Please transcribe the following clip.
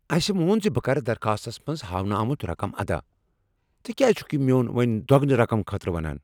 اسہ مون ز بہٕ کر درخواستس منٛز ہاونہٕ آمٗت رقم ادا۔ ژٕ کیٛاز چھ مےٚ وۄنہِ دۄگنہٕ رقم خٲطرٕ ونان؟